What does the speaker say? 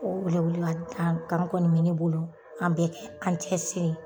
O welewele ma da kan kɔni bɛ ne bolo an bɛ kɛ an cɛ siri.